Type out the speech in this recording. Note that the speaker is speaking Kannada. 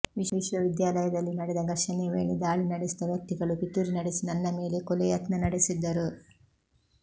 ವಿಶ್ವವಿದ್ಯಾಲಯದಲ್ಲಿ ನಡೆದ ಘರ್ಷಣೆ ವೇಳೆ ದಾಳಿ ನಡೆಸಿದ ವ್ಯಕ್ತಿಗಳು ಪಿತೂರಿ ನಡೆಸಿ ನನ್ನ ಮೇಲೆ ಕೊಲೆ ಯತ್ನ ನಡೆಸಿದ್ದರು